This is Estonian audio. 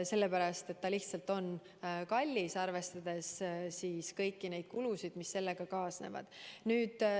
See on lihtsalt kallis, arvestades kõiki kulusid, mis selle tootmisega kaasnevad.